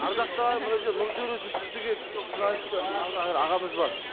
ардақты ағайын мына жерде нұртөре жүсіп деген жүрналисті ағамыз бар